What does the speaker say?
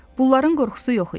Bunların qorxusu yox idi.